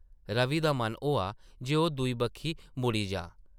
रवि दा मन होआ जे ओह् दूई बक्खी मुड़ी जाऽ ।